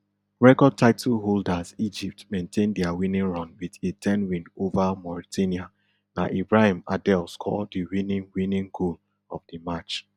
record title holders egypt maintain dia winning run wit a ten win ova mauritania na ibrahim adel score di winning winning goal of di match